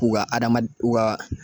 U ga adamad u ga